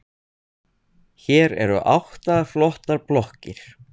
Hér eru átta flottar blokkir.